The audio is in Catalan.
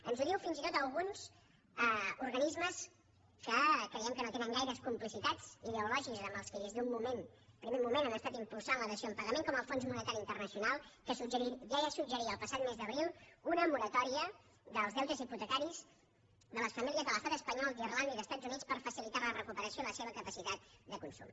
ens ho diuen fins i tot alguns organismes que creiem que no tenen gaires complicitats ideològiques amb els qui des d’un primer moment han estat impulsant la dació en pagament com el fons monetari internacional que ja suggeria el passat mes d’abril una moratòria dels deutes hipotecaris de les famílies de l’estat espanyol d’irlanda i dels estats units per facilitar la recuperació i la seva capacitat de consum